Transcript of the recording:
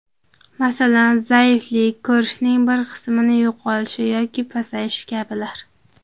Masalan, zaiflik, ko‘rishning bir qismi yo‘qolishi yoki pasayishi kabilar.